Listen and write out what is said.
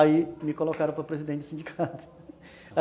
Aí me colocaram para presidente do sindicato